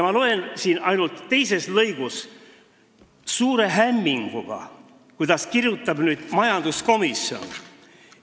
Ma loen aga seletuskirja teisest lõigust suure hämminguga, mida kirjutab majanduskomisjon.